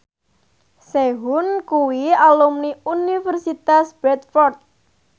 Sehun kuwi alumni Universitas Bradford